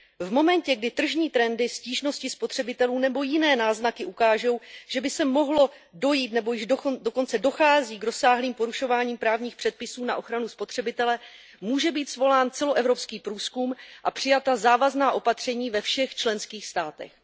V momentě, kdy tržní trendy, stížnosti spotřebitelů nebo jiné náznaky ukážou, že by mohlo dojít nebo již dokonce dochází k rozsáhlým porušováním právních předpisů na ochranu spotřebitele, může být svolán celoevropský průzkum a mohou být přijata závazná opatření ve všech členských státech.